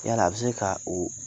Yala a bi se ka o